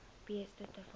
beeste ter waarde